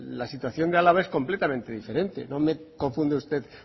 la situación de álava es completamente diferente no me confunda usted